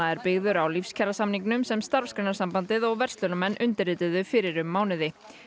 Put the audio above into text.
er byggður á Lífskjarasamningnum sem Starfsgreinasambandið og verslunarmenn undirrituðu fyrir um mánuði